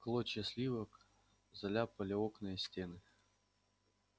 клочья сливок заляпали окна и стены